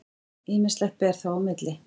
Ýmislegt ber þó á milli.